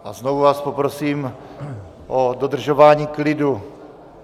A znovu vás poprosím o dodržování klidu.